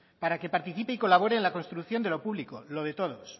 para que participe y colabore en la construcción de lo público lo de todos